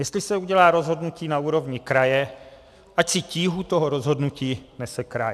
Jestli se udělá rozhodnutí na úrovni kraje, ať si tíhu toho rozhodnutí nese kraj.